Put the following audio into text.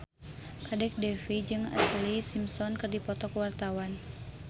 Kadek Devi jeung Ashlee Simpson keur dipoto ku wartawan